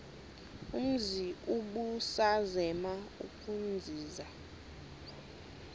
umzi ubusazema ukuzinza